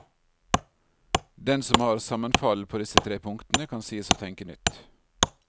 Den som har sammenfall på disse tre punktene, kan sies å tenke nytt.